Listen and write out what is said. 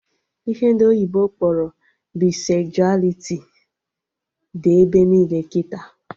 Ihe ndị oyibo kpọrọ Baisezualiti dị ebe niile kịta